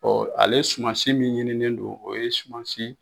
ale sumansi min ɲinilen no o ye sumansi